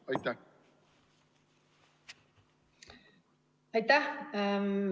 Aitäh!